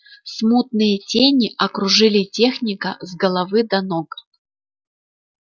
смутные тени окружили техника с головы до ног